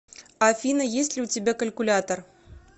афина есть ли у тебя калькулятор